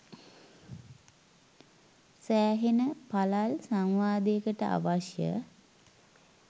සෑහෙන පළල් සංවාදයකට අවශ්‍ය